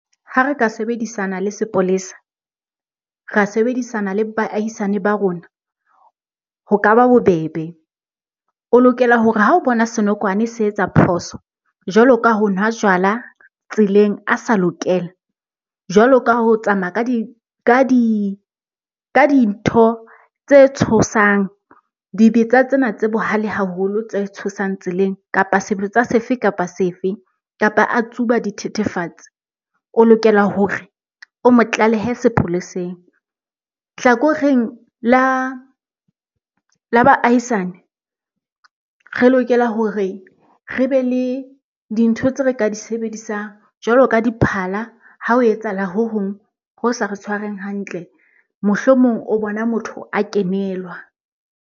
Ha re ka sebedisana le sepolesa, ra sebedisana le baahisane ba rona ho ka ba bobebe. O lokela hore ha o bona senokwane se etsa phoso jwalo ka ho nwa jwala tseleng a sa lokela, jwalo ka ho tsamaya ka dintho tse tshosang, dibetsa tsena tse bohale haholo tse tshosang tseleng, kapa sebetsa sefe kapa sefe kapa a tsuba dithethefatsi, o lokela hore o mo tlalehe sepoleseng. Hlakoreng la baahisane, re lokela hore re be le dintho tse re ka di sebedisang jwalo ka diphala ha ho etsahala ho hong ho sa re tshwareng hantle. Mohlomong o bona motho a kenelwa.